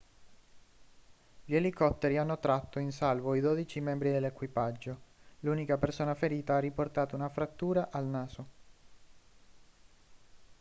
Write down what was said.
gli elicotteri hanno tratto in salvo i dodici membri dell'equipaggio l'unica persona ferita ha riportato una frattura al naso